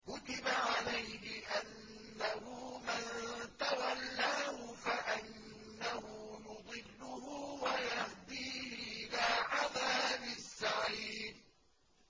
كُتِبَ عَلَيْهِ أَنَّهُ مَن تَوَلَّاهُ فَأَنَّهُ يُضِلُّهُ وَيَهْدِيهِ إِلَىٰ عَذَابِ السَّعِيرِ